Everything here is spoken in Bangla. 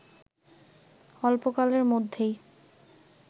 অল্পকালের মধ্যেই